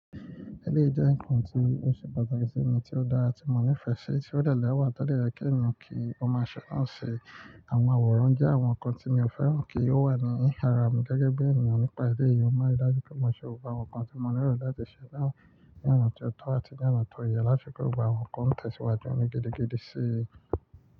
Ẹleyi jẹ́ ǹkan tí ó ṣe pàtàkì sí mi, tí ó dára, tí mo nífẹ̀ẹ́ sí, tí ó tẹ̀lé ọ̀wà tọ́dẹ̀ yẹ kí ǹmọ kí ó máa ṣẹ̀, má ṣe àwọn àwòrán jẹ́ àwọn ǹkan tí mi ò fẹ́ràn kí ó wà ní àrà mi gẹ́gẹ́ bí ènìyàn nípa ilé yìí, ó máa rí lájú kí ó mọ ṣe òrò àwọn ǹkan tí mo nírò láti ṣẹ̀ náà ní ọ̀nà tó tọ́ àti ní ọ̀nà tó yẹ lásìkò gbogbo àwọn ǹkan ǹ tẹ̀síwájú ọ́n ní gidigidi sí.